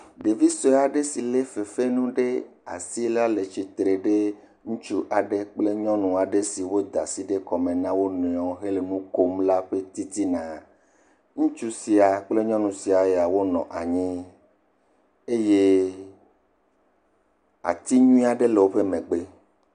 Ɖevi sue aɖe si lé fefenu ɖe asi la le tsi tre ɖe ŋutsu aɖe kple nyɔnu aɖe siwo da asi ɖe kɔme na wo nɔewo hele nu kom la ƒe titina. Ŋutsu sia kple nyɔnu sia wonɔ anyi. Eye ati nyuie aɖe le woƒe megbe.